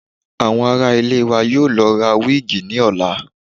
Àwọn ará ilé wa yóò lọ ra wíìgì ní ọ̀la